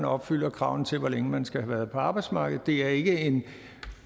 opfylder kravene til hvor længe man skal have været på arbejdsmarkedet det er ikke en